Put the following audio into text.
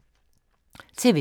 TV 2